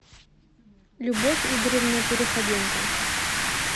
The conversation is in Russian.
любовь игоревна переходенко